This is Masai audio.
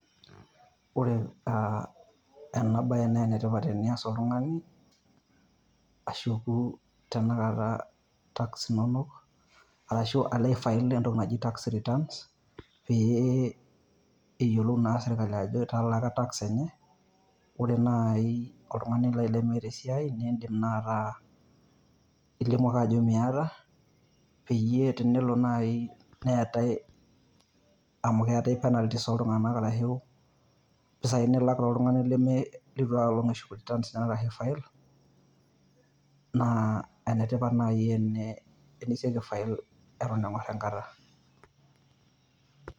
Ore ah enabae na enetipat tenias oltung'ani, ashu duo tanakata tax inonok, ashu alo aifail entoki naji tax returns, pee eyiolou naa sirkali ajo italaaka tax enye. Ore nai oltung'ani lemeeta esiai, idim nataa ilimu ake ajo miata, peyie tenelo nai neetai amu keeta penalties toltung'anak arashu impisai nilak oltung'ani litu ai olong' eshuk returns ashu files, naa enetipat nai eniseki aifail eton eng'or enkata.